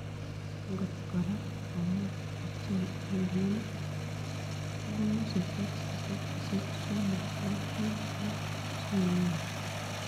Angot koraa komuch icheeng NLM kobunuu sisit sisit sisit somok loo muut loo siinyoruu.